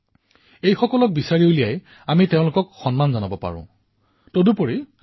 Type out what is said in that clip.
ভাৰতৰ লক্ষ্মীক উৎসাহিত কৰাৰ অৰ্থ হল দেশ আৰু দেশবাসীৰ সমৃদ্ধিৰ পথ অধিক শক্তিশালী কৰা